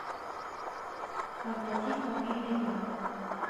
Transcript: оплатить мобильный лены